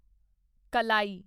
ਕਲਾਈ